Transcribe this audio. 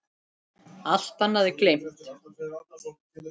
Allt annað gleymt.